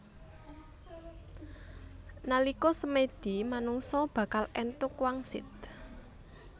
Nalika semèdi manungsa bakal èntuk wangsit